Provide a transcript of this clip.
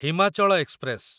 Himachal express